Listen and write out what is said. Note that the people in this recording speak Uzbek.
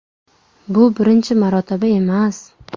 Bu birinchi marotaba emas.